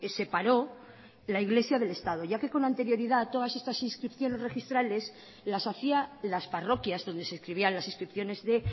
separó la iglesia del estado ya que con anterioridad todas estas inscripciones registrales las hacía las parroquias donde se escribían las inscripciones de